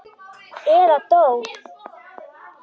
Eða dó.